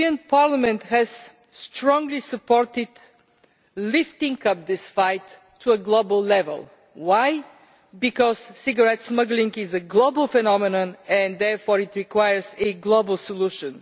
Parliament has strongly supported lifting this fight to a global level. Why? Because cigarette smuggling is a global phenomenon and therefore it requires a global solution.